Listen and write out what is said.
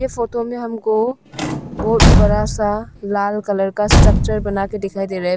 ये फोटो में हमको बहुत बड़ा सा लाल कलर का स्ट्रक्चर बनाके दिखाई दे रहा है।